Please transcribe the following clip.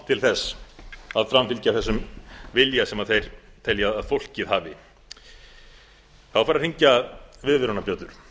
til þess að framfylgja þessum vilja sem þeir telja að fólkið hafi þá fara að hringja viðvörunarbjöllur